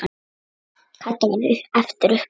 Kata varð eftir uppi.